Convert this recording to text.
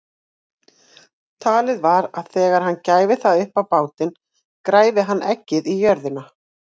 Talið var að þegar hann gæfi það upp á bátinn græfi hann eggið í jörðu.